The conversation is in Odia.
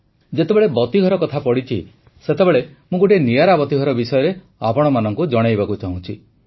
ଯେତେବେଳେ ବତୀଘର କଥା ପଡ଼ିଛି ସେତେବେଳେ ମୁଁ ଗୋଟିଏ ନିଆରା ବତୀଘର ବିଷୟରେ ଆପଣମାନଙ୍କୁ ଜଣାଇବାକୁ ଚାହୁଁଛି